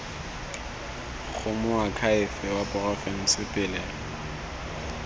go moakhaefe wa porofense pele